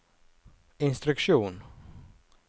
instruksjon